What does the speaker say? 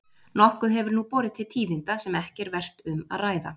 Nokkuð hefur nú borið til tíðinda sem ekki er vert um að ræða.